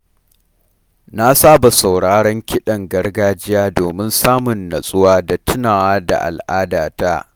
Na saba sauraron kiɗan gargajiya domin samun natsuwa da tunawa da al'adata